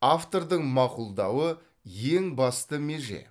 автордың мақұлдауы ең басты меже